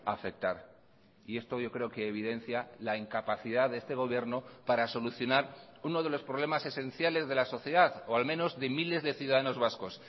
afectar y esto yo creo que evidencia la incapacidad de este gobierno para solucionar uno de los problemas esenciales de la sociedad o al menos de miles de ciudadanos vascos